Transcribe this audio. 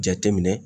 Jateminɛ